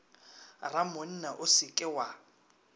ramonna o se ke wa